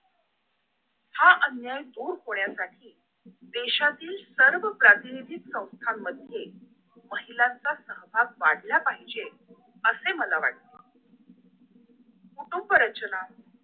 हा अन्याय दूर होण्यासाठी देशातील सर्व प्राथनिधीक संथामध्ये महिलांचा सहवास वाढला पाहिजे असे मला वाटते कुटुंब रचना